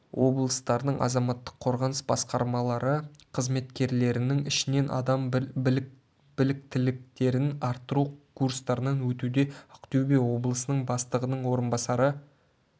облыстарының азаматтық қорғаныс басқармалары қызметкерлерінің ішінен адам біліктіліктерін арттыру курстарынан өтуде ақтөбе облысының бастығының орынбасары